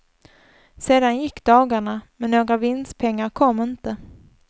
Sedan gick dagarna, men några vinstpengar kom inte.